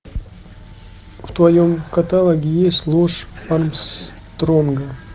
в твоем каталоге есть ложь армстронга